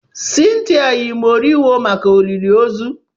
Cynthia yi moriwo maka olili ozu.